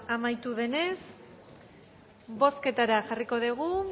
amaitu denez bozketara jarriko dugu